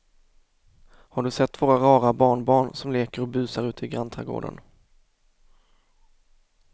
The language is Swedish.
Har du sett våra rara barnbarn som leker och busar ute i grannträdgården!